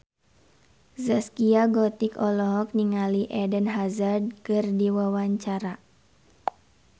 Zaskia Gotik olohok ningali Eden Hazard keur diwawancara